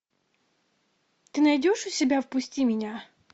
ты найдешь у себя впусти меня